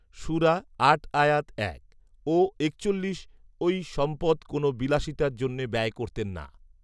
সূরা আট আয়াত এক ও একচল্লিশ ঐ সম্পদ কোন বিলাসিতার জন্যে ব্যয় করতেন না